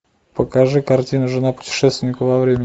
покажи картину жена путешественника во времени